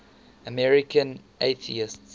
american atheists